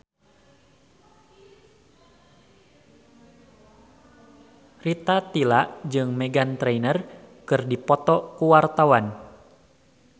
Rita Tila jeung Meghan Trainor keur dipoto ku wartawan